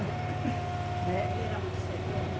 Né? Ele era muito severo?